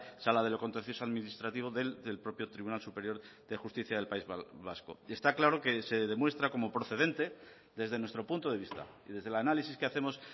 sala de lo contencioso administrativo del propio tribunal superior de justicia del país vasco está claro que se demuestra como procedente desde nuestro punto de vista y desde el análisis que hacemos